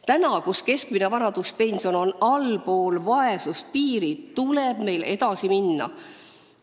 Praegu, kui keskmine vanaduspension on allpool vaesuspiiri, tuleb meil edasi minna.